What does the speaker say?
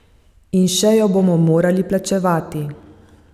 In še jo bomo morali plačevati.